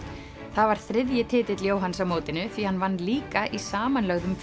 það var þriðji titill Jóhanns á mótinu því hann vann líka í samanlögðum